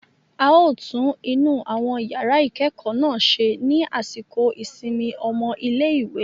A ó tún inú àwọn yàrá ìkẹ́kọ̀ọ́ náà ṣe ní àsìkò ìsinmi ọmọ ilẹ̀ ìwẹ̀.